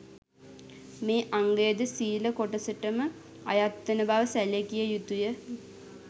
මේ අංගය ද සීල කොටසටම අයත්වන බව සැලකිය යුතු ය